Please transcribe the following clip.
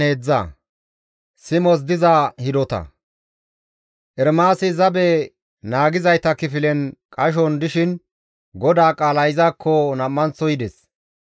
Ermaasi zabe naagizayta kifilen qashon dishin GODAA qaalay izakko nam7anththo yides.